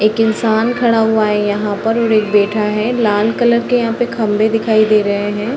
एक इंसान खड़ा हुआ है यहाँ पर और एक बैठा है | लाल कलर के यहाँ पे खम्भे दिखाई दे रहे हैं |